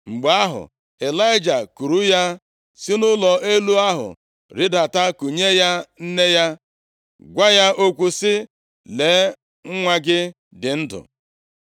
Mgbe ahụ, Ịlaịja kuuru ya si nʼụlọ elu ahụ rịdata, kunye ya nne ya, gwa ya okwu sị, “Lee, nwa gị dị ndụ!”